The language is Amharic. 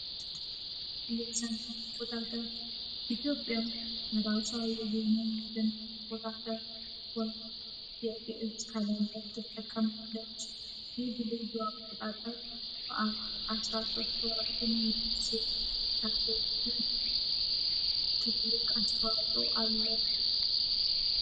የሰን ቁጣተ ኢትዮጵያ የራስ የሄኖን ትን ቁጣተ ወየኤዝ ከላንባስ ተጠቀሙ ደች ልዙዋን ቁጣቀር በአ 1ስራ 3ቶራትን ስ ዳሌቱን ትግልክ አስተዋጡ አለ